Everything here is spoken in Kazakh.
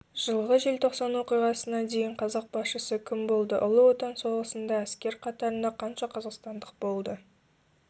жылғы желтосан оқиғасына дейін қазақ басшысы кім болды ұлы отан соғысында әскер қатарында қанша қазақстандықтар болды